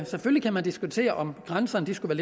selvfølgelig kan man diskutere om grænserne skulle